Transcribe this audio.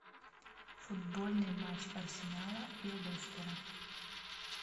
футбольный матч арсенала и лестера